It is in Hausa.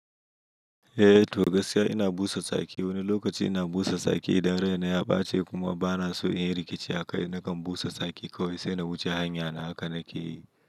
Eh to gaskiya ina busa tsaki. Wani lokaci ina busa tsaki idan raina ya ɓace kuma bana so inyi rikici akai nakan busa tsaki kawai sai na wuce hanyana haka nake yi.